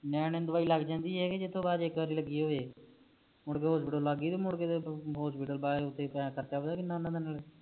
ਨਿਆਣੇ ਨੂੰ ਦਵਾਈ ਲੱਗ ਜਾਂਦੀ ਏ ਕ ਇਕ ਵਾਰ ਜਿਥੋਂ ਲਾਈਏ ਹੋਵੇ ਮੁੜਕੇ ਹੌਸਪੀਟਲ ਲੱਗ ਗਯੀ ਤੇ ਮੁੜਕੇ ਤੇ ਖਰਚਾ ਪਤਾ ਕਿੰਨਾ ਆਉਂਦਾ